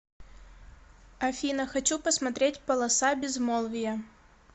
афина хочу посмотреть полоса безмолвия